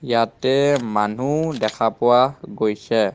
ইয়াতে মানুহ দেখা পোৱা গৈছে.